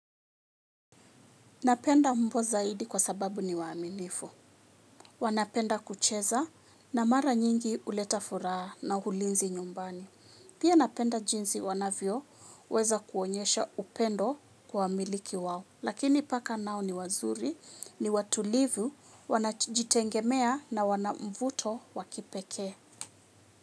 Napenda mbwa zaidi kwa sababu ni waaminifu. Wanapenda kucheza na mara nyingi uleta furaha na ulinzi nyumbani. Pia napenda jinsi wanavyo weza kuonyesha upendo kwa wamiliki wao. Lakini paka nao ni wazuri, ni watulivu, wanajitengemea na wanamvuto wakipeke.